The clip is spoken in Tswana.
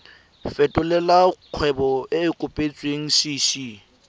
fetolela kgwebo e e kopetswengcc